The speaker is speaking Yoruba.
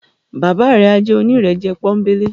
Baba rẹ a jẹ onírẹ̀jẹ̀ ponbele.